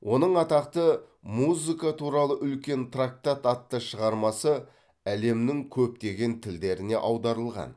оның атақты музыка туралы үлкен трактат атты шығармасы әлемнің көптеген тілдеріне аударылған